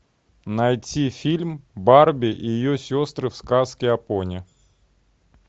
найти фильм барби и ее сестры в сказке о пони